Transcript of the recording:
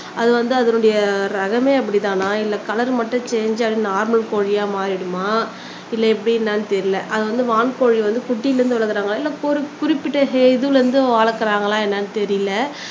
அது வந்து அதனுடைய ரகமே அப்படித்தானா இல்ல கலர் மட்டும் சேன்ஜ் ஆகி அது நார்மல் கோழியா மாறிடுமா இல்ல எப்படி என்னன்னு தெரியல அது வந்து வான் கோழி வந்து குட்டில இருந்து வளர்க்குறாங்களா இல்ல ஒரு குறிப்பிட்ட இதுல இருந்து வளர்க்குறாங்களா என்னன்னு தெரியல